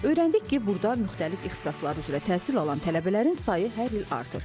Öyrəndik ki, burda müxtəlif ixtisaslar üzrə təhsil alan tələbələrin sayı hər il artır.